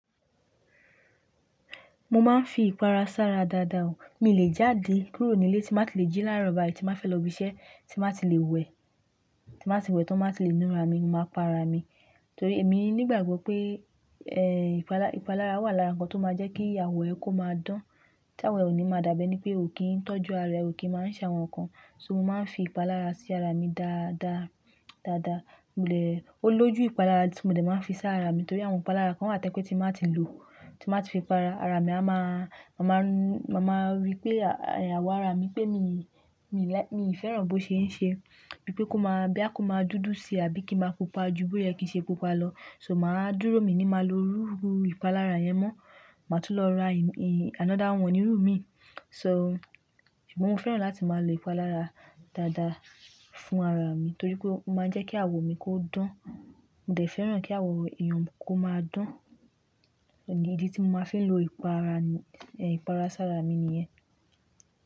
Mo máa ń fi ìpara sára ara dáadáa o. Mí lè jáde kúrò nílé tí ba tí lè jí lárò bai tí bá fẹ́ lọ ibiṣẹ́ tí bá tí lè wẹ̀, tí bá tí wẹ̀ ton tí ba ti lè nura mi, máa pa ara mi. Torí èmi nígbàgbọ́ pé, ẹ́ ìpalára wà lára ǹkan tó máa jẹ́ kí àwó ẹ kó máa dán. Tí àwọ òní máa dàbí enipé pé ò kí ń tọ́jú ara ẹ, ò kí ń máa ń ṣàwọn ǹkan. So mo máa ń fi ìpalára sí ara mi dáadáa, dáadáa. Mo dè, ó lójú ìpalára tí mo dẹ máa ń fi sáré ara mi torí àwọn ìpalára kan wà tẹ́ kí tí mo má tí lò, tí mo má tí fi pa ara, ara mi a máa, màá mọ́, màá rí pé àyàwó ara mi pé mí, mí lè, mi fẹ́ràn bó ṣe ń ṣe. Bí pé kó máa bí á kó máa dúdú si àbí kí máa pupa ju bóye kí í ṣe pupa lọ. So màá dúró mi ní máa lo rúru ìpalára yẹn mọ́. Màá tún lọ ra another one nírú mi. So ṣùgbọ́n mo fẹ́ràn láti máa lo ìpalára dáadáa fún ara mi torí pé ó máa ń jẹ́ kí awọ mi kó dán. Mo dẹ̀ fẹ́ràn kí awọ èèyàn kó máa dán. O di tí mo máa fi lo ìpara, ẹ́ ìpara sára mi nìyẹn.